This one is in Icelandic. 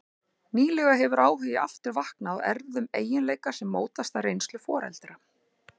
Nýlega hefur áhugi aftur vaknað á erfðum eiginleika sem mótast af reynslu foreldra.